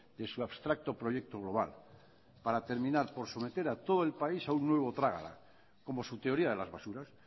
de su abstracto proyecto global para terminar por someter a todo el país a un nuevo trágala como su teoría de las basuras